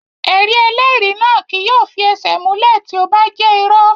Ẹ̀rí ẹlẹ́rìí náà kí yóò fi ẹsẹ̀ múlẹ̀ tí ó bá jẹ́ irọ́